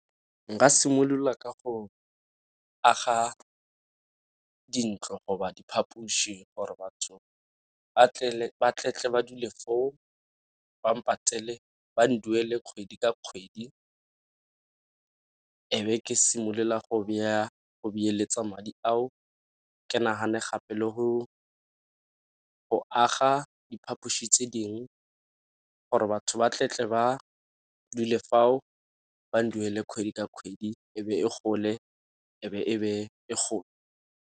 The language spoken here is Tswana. Nka simolola ka go aga dintlo go ba diphaphuši gore batho ba ba dule foo ba patele ba nduele kgwedi ka kgwedi, e be ke simolola go beeletsa madi ao. Ke nagane gape le go aga diphapoši tse dingwe gore batho ba ba dule fao ba nduele kgwedi ka kgwedi e be e gole e be e go.